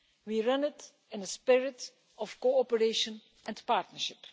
We run it in a spirit of cooperation and partnership.